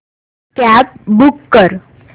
cab book कर